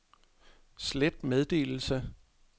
slet meddelelse